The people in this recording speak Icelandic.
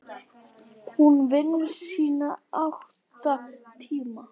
Hún vinnur sína átta tíma.